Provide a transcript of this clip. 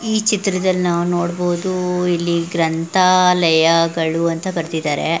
ಈ ಚಿತ್ರದಲ್ಲಿ ನಾವು ನೋಡಬಹುದು ಇಲ್ಲಿ ಗ್ರಂಥಾಲಯ ಗಳು ಅಂತ ಕರೆದಿದ್ದಾರೆ.